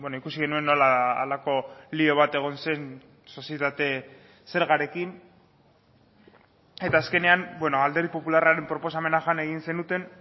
ikusi genuen nola halako lio bat egon zen sozietate zergarekin eta azkenean alderdi popularraren proposamena jan egin zenuten